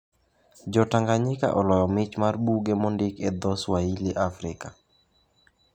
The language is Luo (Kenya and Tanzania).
Jo Tanzania oloyo mich mar buge mondik e dho Swahili e Afrika